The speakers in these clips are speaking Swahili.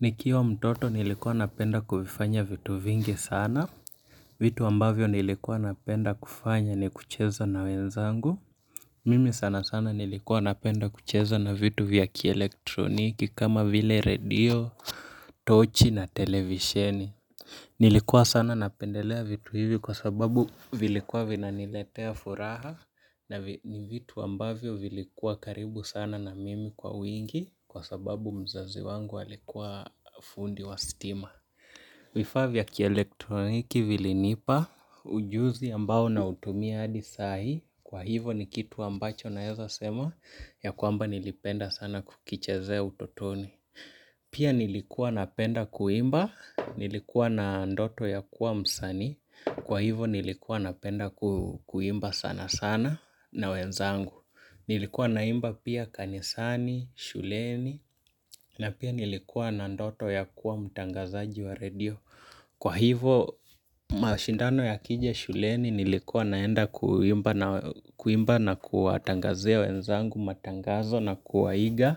Nikiwa mtoto nilikuwa napenda kuvifanya vitu vingi sana. Vitu ambavyo nilikuwa napenda kufanya ni kucheza na wenzangu. Mimi sana sana nilikuwa napenda kucheza na vitu vya kielektroniki kama vile radio, tochi na televisheni. Nilikuwa sana napendelea vitu hivi kwa sababu vilikuwa vina niletea furaha na ni vitu ambavyo vilikuwa karibu sana na mimi kwa wingi kwa sababu mzazi wangu alikuwa fundi wa stima. Vifaa vya kielektroniki vilinipa ujuzi ambao nautumia hadi sai, kwa hivo ni kitu ambacho naeza sema ya kwamba nilipenda sana kukichezea utotoni. Pia nilikuwa napenda kuimba. Nilikuwa na ndoto ya kuwa msanii, kwa hivo nilikuwa napenda kuimba sana sana na wenzangu. Nilikuwa naimba pia kanisani, shuleni na pia nilikuwa na ndoto ya kuwa mtangazaji wa radio. Kwa hivo, mashindano yakija shuleni nilikuwa naenda kuimba na kuwatangazia wenzangu matangazo na kuwaiga,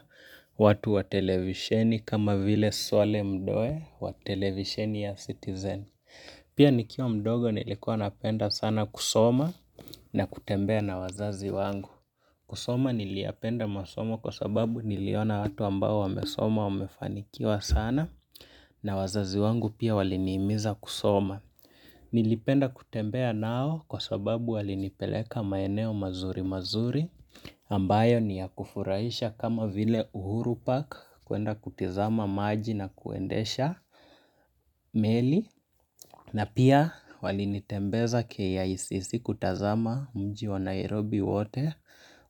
watu wa televisheni kama vile Swale Mdoe wa televisheni ya citizen. Pia nikiwa mdogo nilikuwa napenda sana kusoma na kutembea na wazazi wangu. Kusoma niliyapenda masomo kwa sababu niliona watu ambao wamesoma wamefanikiwa sana na wazazi wangu pia walinihimiza kusoma. Nilipenda kutembea nao kwa sababu walinipeleka maeneo mazuri mazuri ambayo ni ya kufurahisha kama vile Uhuru Park kuenda kutizama maji na kuendesha meli. Na pia wali nitembeza KICC kutazama mji wa Nairobi wote,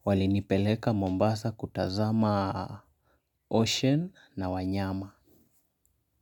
walinipeleka Mombasa kutazama ocean na wanyama.